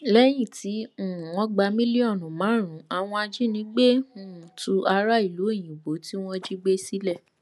lẹyìn tí um wọn gba mílíọnù márùnún àwọn ajínigbé um tú ará ìlú òyìnbó tí wọn jí gbé sílẹ